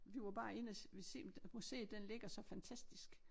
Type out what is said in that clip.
Vi var bare inde og ville se museet den ligger så fantastisk